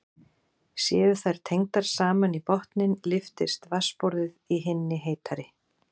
Séu þær tengdar saman í botninn lyftist vatnsborðið í hinni heitari.